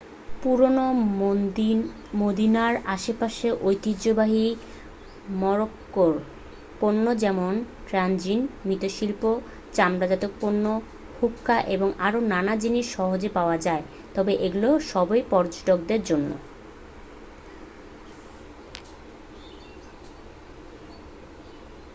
পুরানো মদিনার আশেপাশে ঐতিহ্যবাহী মরক্কোর পণ্য যেমন ট্যাজিন মৃৎশিল্প চামড়াজাত পণ্য হুক্কা এবং আরও নানা জিনিস সহজেই পাওয়া যায় তবে এগুলো সবই পর্যটকদের জন্য